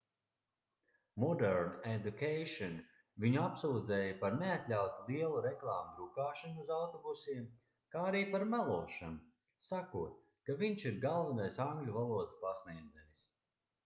modern education viņu apsūdzēja par neatļautu lielu reklāmu drukāšanu uz autobusiem kā arī par melošanu sakot ka viņš ir galvenais angļu valodas pasniedzējs